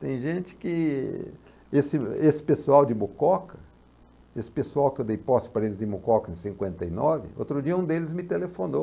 Tem gente que... Esse esse pessoal de Mucoca, esse pessoal que eu dei posse para eles em Mucoca em cinquenta e nove, outro dia um deles me telefonou.